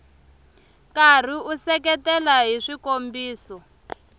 karhi u seketela hi swikombiso